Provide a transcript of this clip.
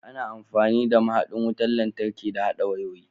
Ana amfani da mahaɗin wutar lantarki da haɗa wayoyi.